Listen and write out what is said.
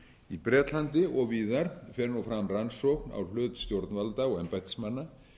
í bretlandi og víðar fer nú fram rannsókn á hlut stjórnvalda og embættismanna